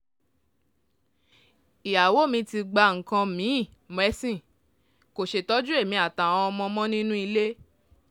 ìyàwó mi ti gba nǹkan mi-in mẹ́sìn kò ṣètọ́jú èmi àtàwọn ọmọ mọ́ nínú ilé